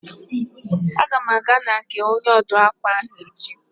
A ga m aga na nke onye ọ dụụ akwa ahụ echi.